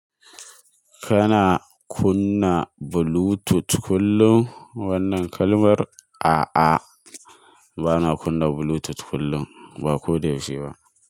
Kana kunna Bluetooth kullum wannan kalmar? A'a, bana kunna Bluetooth kullum, ba ko da yaushe ba.